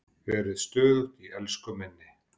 Verið stöðug í elsku minni.